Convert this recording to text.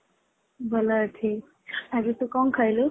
ଭଲ ଅଛି ଆଜି ତୁ କଣ ଖାଇଲୁ ?